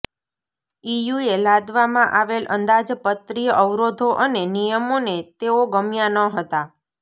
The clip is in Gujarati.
ઇયુએ લાદવામાં આવેલ અંદાજપત્રીય અવરોધો અને નિયમોને તેઓ ગમ્યા ન હતા